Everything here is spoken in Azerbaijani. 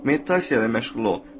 Meditasiya ilə məşğul ol.